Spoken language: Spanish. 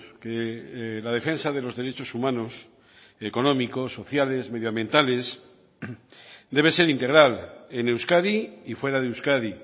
que la defensa de los derechos humanos económicos sociales medioambientales debe ser integral en euskadi y fuera de euskadi